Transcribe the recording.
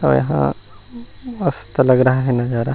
और यह मस्त लग रहा है नज़ारा।